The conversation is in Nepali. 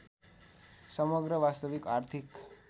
समग्र वास्तविक आर्थिक